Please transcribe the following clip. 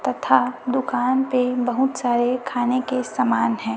तथा दुकान पे बहुत सारे खाने के समान है।